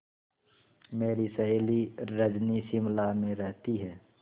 मेरी सहेली रजनी शिमला में रहती है